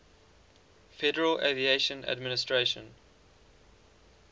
federal aviation administration